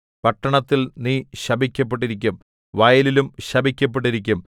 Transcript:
പട്ടണത്തിൽ നീ ശപിക്കപ്പെട്ടിരിക്കും വയലിലും ശപിക്കപ്പെട്ടിരിക്കും